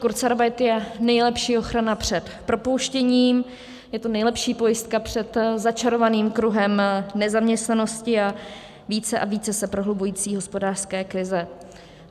Kurzarbeit je nejlepší ochrana před propouštěním, je to nejlepší pojistka před začarovaným kruhem nezaměstnanosti a více a více se prohlubující hospodářské krize.